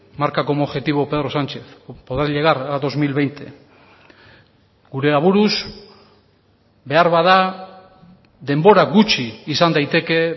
marca como objetivo pedro sánchez poder llegar a dos mil veinte gure aburuz beharbada denbora gutxi izan daiteke